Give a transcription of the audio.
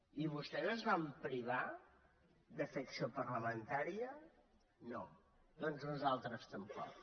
i vostès es van privar de fer acció parlamentà·ria no doncs nosaltres tampoc